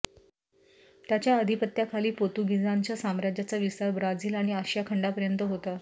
त्याच्या अधिपत्याखाली पोतुगीझांच्या साम्राज्याचा विस्तार ब्राझील आणि आशियाखंडापर्यंत होता